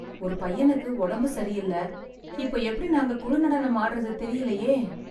ஒரு பையனுக்கு ஒடம்பு சரியில்ல. இப்போ எப்படி நாங்க குழு நடனம் ஆடறது தெரிலயே